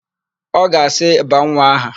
Ọ ga-asị, "baa nwa aha"!